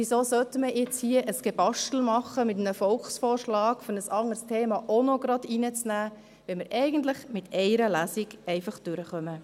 Weshalb sollte man jetzt hier ein «Gebastel» machen mit einem Volksvorschlag, um ein anderes Thema auch gleich zu integrieren, wenn wir eigentlich mit einer Lesung durchkommen?